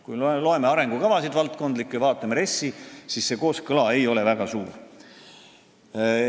Kui me loeme valdkondlikke arengukavu ja vaatame RES-i, siis näeme, et see kooskõla ei ole väga hea.